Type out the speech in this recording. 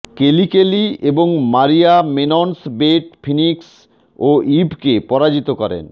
কেলি Kelly এবং Maria Menounos Beth Phoenix ও ইভকে পরাজিত করেন